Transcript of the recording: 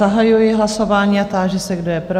Zahajuji hlasování a táži se, kdo je pro?